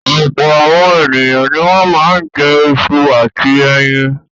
Ọ̀pọ̀ àwọn ènìyàn ni wọ́n máa ń jẹ iṣu àti ẹyin.